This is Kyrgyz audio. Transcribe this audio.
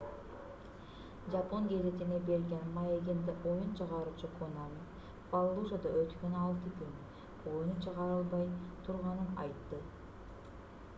жапон гезитине берген маегинде оюн чыгаруучу конами фаллужада өткөн алты күн оюну чыгарылбай турганын айтты